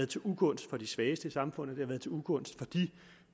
til ugunst for de svageste i samfundet det har været til ugunst for de